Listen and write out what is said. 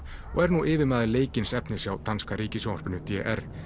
og er nú yfirmaður leikins efnis hjá danska ríkissjónvarpinu d r